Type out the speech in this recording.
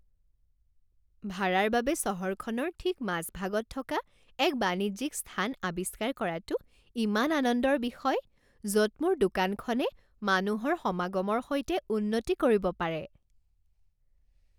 ভাড়াৰ বাবে চহৰখনৰ ঠিক মাজভাগত থকা এক বাণিজ্যিক স্থান আৱিষ্কাৰ কৰাটো ইমান আনন্দৰ বিষয়, য'ত মোৰ দোকানখনে মানুহৰ সমাগমৰ সৈতে উন্নতি কৰিব পাৰে।